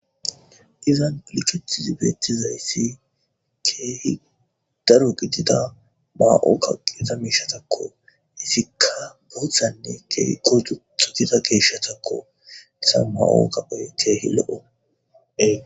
Izan liketizi beettizayssi keehi daro gidida maa'oka qieta miishatakko izikka boothanne kotu xugida geeshshatakko issa maa'o kapoy keehi lo'o.